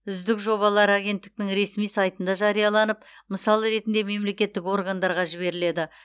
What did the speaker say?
үздік жобалар агенттіктің ресми сайтында жарияланып мысал ретінде мемлекеттік органдарға жіберіледі